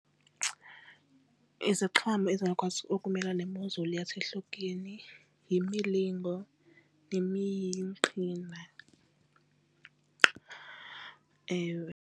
Iziqhamo ezingakwazi ukumelana nemozulu yasehlotyeni yimilingo nemiqhina, ewe.